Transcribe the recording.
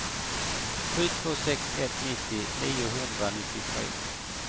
sju två sex ett nittio niohundranittiotre